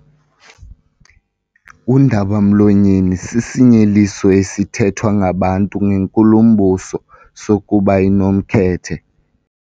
Undaba-mlonyeni sisinyeliso esithethwa ngabantu ngenkulumbuso sokuba inomkhethe.